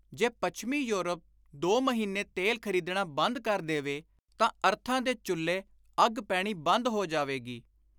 ਜੇ ਪੱਛਮੀ ਯੂਰਪ ਦੋ ਮਹੀਨੇ ਤੇਲ ਖ਼ਰੀਦਣਾ ਬੰਦ ਕਰ ਦੇਵੇ ਤਾਂ ਅਰਥਾਂ ਦੇ ਚੁੱਲ੍ਹੇ ਅੱਗ ਪੈਣੀ ਬੰਦ ਹੋ ਜਾਵੇਗੀ।